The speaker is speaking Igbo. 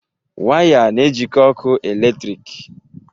Waya na-ejikọ ọkụ eletrik.